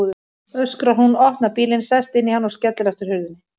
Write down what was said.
öskrar hún, opnar bílinn, sest inn í hann og skellir aftur hurðinni.